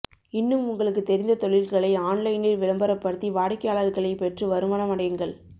இன்னும் உங்களுக்கு தெரிந்த தொழில்களை ஆன்லைனில் விளம்பரப்படுத்தி வாடிக்கையாளர்களை பெற்று வருமானம் அடையுங்கள்